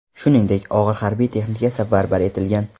Shuningdek, og‘ir harbiy texnika safarbar etilgan.